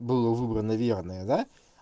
было выбрано верное да